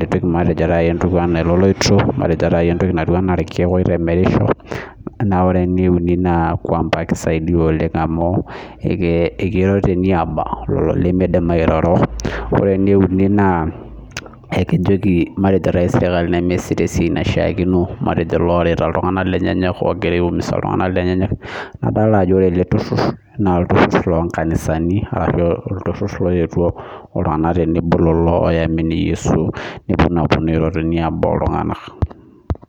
kipik matejo taata entumo oololoito matejo taata entoki naa irkiek oitemerisho Naa ore enieuni naa kisaidia oleng amu ekeiro teniaba lolo limiidim airoro Ore enieuni naa ekijoki matejo taisere tenimiyasita esiai naishaakino matejo loorita iltunganak lenye oogira aiumiza lenye nye nadolita ajo ore ele turhur naa olturhur loonkanisani arashu olturhur looyetuo iltung'anak tenebo oyetuo iltunganak oyamini Yesu nepuo naa apuonu airoro teniaba oltunganak